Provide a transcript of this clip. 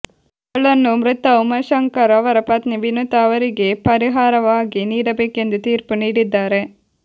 ಗಳನ್ನು ಮೃತ ಉಮಾ ಶಂಕರ್ ಅವರ ಪತ್ನಿ ವಿನುತಾ ಅವರಿಗೆ ಪರಿಹಾರವಾಗಿ ನೀಡಬೇಕೆಂದು ತೀರ್ಪು ನೀಡಿದ್ದಾರೆ